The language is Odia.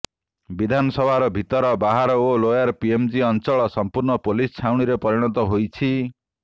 ବିଧାନସଭାର ଭିତର ବାହାର ଓ ଲୋୟର ପିଏମଜି ଅଞ୍ଚଳ ସମ୍ପୂର୍ଣ୍ଣ ପୋଲିସ ଛାଉଣୀରେ ପରିଣତ ହୋଇଛି